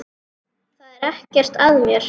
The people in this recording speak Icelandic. Það er ekkert að mér.